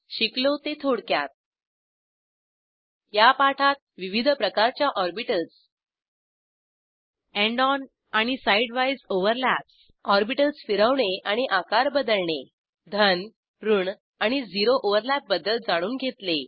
शिकलो ते थोडक्यात या पाठात विविध प्रकारच्या ऑर्बिटल्स एंड ऑन आणि साईड वाईज ओव्हरलॅप्स ऑरबिटल्स फिरवणे आणि आकार बदलणे धन ऋण आणि झिरो ओव्हरलॅप बद्दल जाणून घेतले